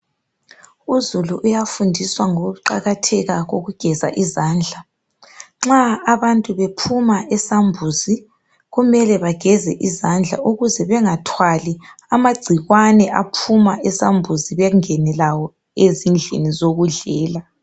Uzulu uyafundiswa ngokuqakatheka kokugeza izandla, nxa abantu bephuma esambuzini kumele bageze izandla ukuze bangathwali amagcikwane aphuma esambuzini bengene lawo ezindlini zokudlela.